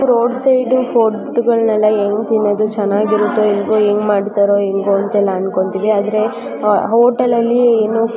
ನಾವು roadside ಫುಡ್ಗಳನ್ನ ತಿಂದ್ರೆ ಚೆನ್ನಾಗಿರುತ್ತೆ ಏನೋ ಆದರೆ ಹೋಟೆಲ್ ಅಲ್ಲಿ.